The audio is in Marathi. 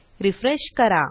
रिफ्रेश करा